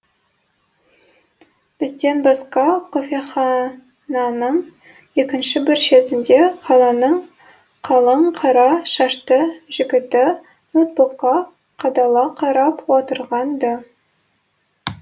бізден басқа кофехананың екінші бір шетінде қаланың қалың қара шашты жігіті ноутбукқа қадала қарап отырған ды